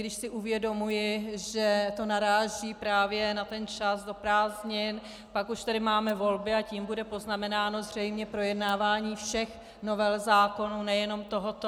Když si uvědomuji, že to naráží právě na ten čas do prázdnin, pak už tady máme volby a tím bude poznamenáno zřejmě projednávání všech novel zákonů, nejenom tohoto.